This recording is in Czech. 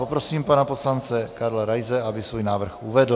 Poprosím pana poslance Karla Raise, aby svůj návrh uvedl.